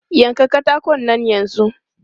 Yanka katakon nan yanzu!